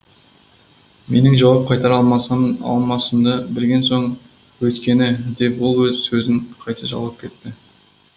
менің жауап қайтара алмасам алмасымды білген соң өйткені деп ол сөзін қайта жалғап кетті